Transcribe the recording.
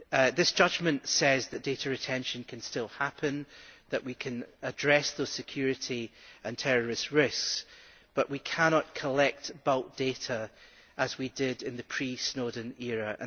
This judgment says that data retention can still happen, that we can address the security and terrorist risks, but we cannot collect bulk data as we did in the pre Snowden era.